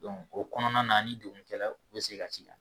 o kɔnɔna na ni degun kɛra u bɛ segin ka ti da.